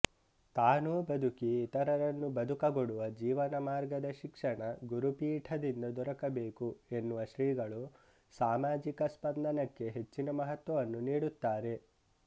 ತಾನುಬದುಕಿ ಇತರರನ್ನು ಬದುಕಗೊಡುವ ಜೀವನ ಮಾರ್ಗದ ಶಿಕ್ಷಣ ಗುರುಪೀಠದಿಂದ ದೊರಕಬೇಕು ಎನ್ನುವ ಶ್ರೀಗಳು ಸಾಮಾಜಿಕ ಸ್ಪಂದನಕ್ಕೆ ಹೆಚ್ಚಿನ ಮಹತ್ವವನ್ನು ನೀಡುತ್ತಾರೆ